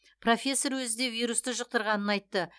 профессор өзі де вирусты жұқтырғанын айтты